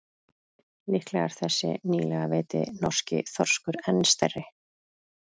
Líklega er þessi nýlega veiddi norski þorskur enn stærri.